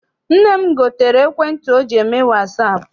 Nne m gotere ekwentị ọ ji eme wasaapụ.